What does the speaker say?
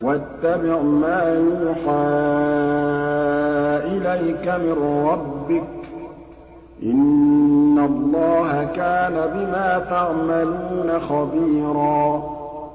وَاتَّبِعْ مَا يُوحَىٰ إِلَيْكَ مِن رَّبِّكَ ۚ إِنَّ اللَّهَ كَانَ بِمَا تَعْمَلُونَ خَبِيرًا